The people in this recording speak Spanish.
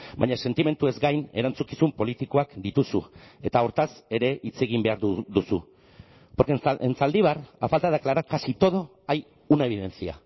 baina sentimenduez gain erantzukizun politikoak dituzu eta hortaz ere hitz egin behar duzu porque en zaldibar a falta de aclarar casi todo hay una evidencia